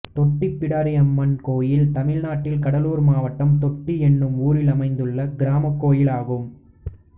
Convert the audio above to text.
தொட்டி பிடாரியம்மன் கோயில் தமிழ்நாட்டில் கடலூர் மாவட்டம் தொட்டி என்னும் ஊரில் அமைந்துள்ள கிராமக் கோயிலாகும்